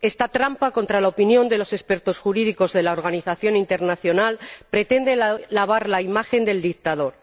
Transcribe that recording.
Esta trampa, contra la opinión de los expertos jurídicos de la organización internacional, pretende lavar la imagen del dictador.